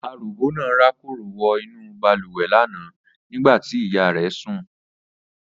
Aròbó náà rákòrò wọ inú bàlùwẹ̀ lánàá nígbà tí ìyá rẹ̀ sùn